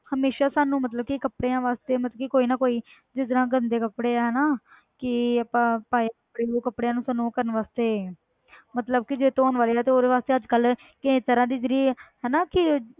ਹਮੇਸ਼ਾ ਸਾਨੂੰ ਮਤਲਬ ਕਿ ਕੱਪੜਿਆਂ ਵਾਸਤੇ ਮਤਲਬ ਕਿ ਕੋਈ ਨਾ ਕੋਈ ਜਿਸ ਤਰ੍ਹਾਂ ਗੰਦੇ ਕੱਪੜੇ ਹੈ ਨਾ ਕਿ ਆਪਾਂ ਪਾਏ ਕੱਪੜੇ ਹੋਏ ਕੱਪੜਾਂ ਨੂੰ ਤੁਹਾਨੂੰ ਉਹ ਕਰਨ ਵਾਸਤੇ ਮਤਲਬ ਕਿ ਜੇ ਧੌਣ ਵਾਲੇ ਆ ਤਾਂ ਉਹਦੇ ਵਾਸਤੇ ਅੱਜ ਕੱਲ੍ਹ ਕਈ ਤਰ੍ਹਾਂ ਦੀ ਜਿਹੜੀ ਹਨਾ ਕਿ